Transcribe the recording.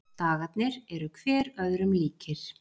Dagarnir eru hver öðrum líkir.